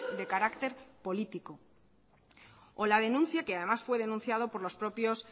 de carácter político o la denuncia que además fue denunciado por los propios